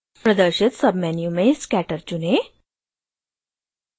प्रदर्शित submenu में scatter चुनें